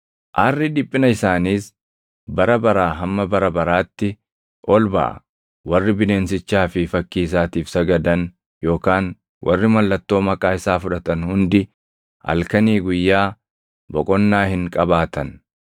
Aarri dhiphina isaaniis bara baraa hamma bara baraatti ol baʼa. Warri bineensichaa fi fakkii isaatiif sagadan yookaan warri mallattoo maqaa isaa fudhatan hundi halkanii guyyaa boqonnaa hin qabaatan.”